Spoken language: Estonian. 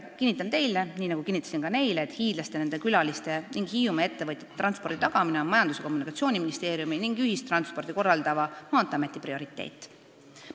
Kinnitan teile – nii nagu kinnitasin ka neile –, et hiidlaste ja nende külaliste ning Hiiumaa ettevõtjate transpordi tagamine on Majandus- ja Kommunikatsiooniministeeriumi ning ühistransporti korraldava Maanteeameti prioriteet.